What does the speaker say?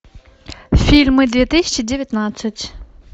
фильмы две тысячи девятнадцать